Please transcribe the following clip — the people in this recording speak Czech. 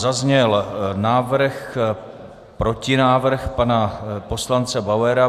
Zazněl návrh, protinávrh pana poslance Bauera.